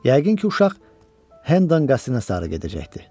Yəqin ki, uşaq Hendon qəsrinə sarı gedəcəkdir.